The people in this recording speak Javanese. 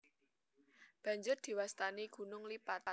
Banjur diwastani gunung lipat